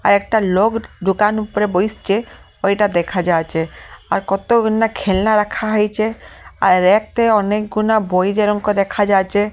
আর একটা লোগ দোকান উপরে বইসচে ঐটা দেখা যাচ্ছে আর কতগুনা খেলনা রাখা হইছে আর র‍্যাক তে অনেকগুনা বই যেরম করে রেখা যাচে--